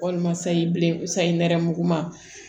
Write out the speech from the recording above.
Walima sayi bilen sayi nɛrɛmuguma